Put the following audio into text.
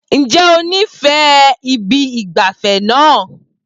Ǹjẹ́ o nífẹ̀ẹ́ ibi ìgbafẹ́ náà?